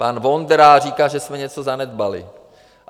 Pan Vondra říká, že jsme něco zanedbali.